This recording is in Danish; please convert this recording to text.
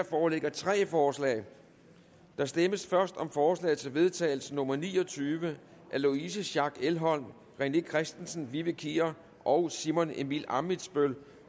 foreligger tre forslag der stemmes først om forslag til vedtagelse nummer v ni og tyve af louise schack elholm rené christensen vivi kier og simon emil ammitzbøll